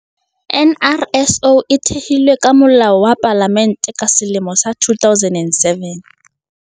NRSO e thehilwe ka Molao wa Palamente ka selemo sa 2007.